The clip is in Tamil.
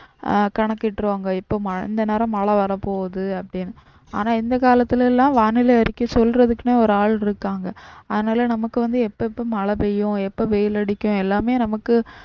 ஆஹ் கணக்கிட்டிருவாங்க இப்ப இந்த நேரம் மழை வரப்போகுது அப்டினு ஆனா இந்த காலத்துலாம் வானிலை அறிக்கை சொல்றதுக்குனே ஒரு ஆள் இருக்காங்க அதுனால நமக்கு வந்து எப்பப்ப மழை பெய்யும் எப்ப வெயில் அடிக்கும் எல்லாமே நமக்கு